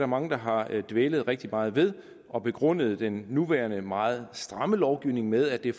mange der har dvælet rigtig meget ved og begrundet den nuværende meget stramme lovgivning med at det